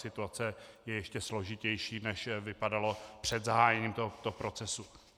Situace je ještě složitější, než vypadala před zahájením tohoto procesu.